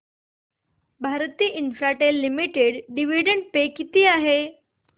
Bharti Infratel limited dividend पे किती आहे